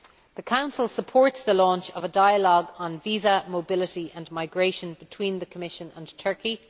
The Council supports the launch of a dialogue on visa, mobility and migration between the Commission and Turkey.